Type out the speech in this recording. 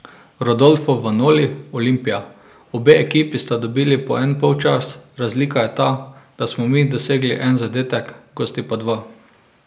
Rodolfo Vanoli, Olimpija: 'Obe ekipi sta dobili po en polčas, razlika je ta, da smo mi dosegli en zadetek, gosti pa dva.